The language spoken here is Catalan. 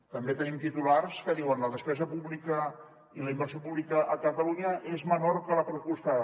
també tenim titulars que diuen la despesa pública i la inversió pública a catalunya és menor que la pressupostada